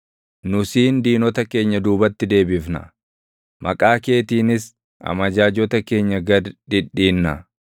Nu siin diinota keenya duubatti deebifna; maqaa keetiinis amajaajota keenya gad dhidhiinna.